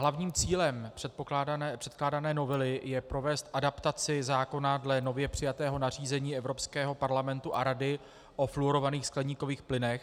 Hlavním cílem předkládané novely je provést adaptaci zákona dle nově přijatého nařízení Evropského parlamentu a Rady o fluorovaných skleníkových plynech.